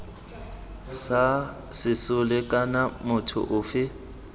sa sesole kana motho ofe